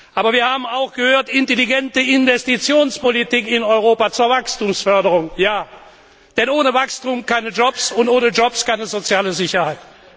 Aber wir haben auch gehört Intelligente Investitionspolitik in Europa zur Wachstumsförderung, ja, denn ohne Wachstum keine Jobs und ohne Jobs keine soziale Sicherheit.